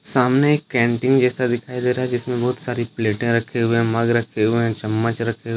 सामने एक कैंटीन जैसा दिखाई दे रहा है जिसमें बहुत सारे प्लेटें रखे हुए हैं मग रखे हुए हैं चम्मच रखे हुए --